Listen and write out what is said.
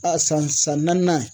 A san san naaninan